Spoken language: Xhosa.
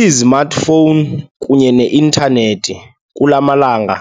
Izimatifowuni kunye neintanethi kula malanga